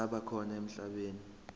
zisaba khona emhlabeni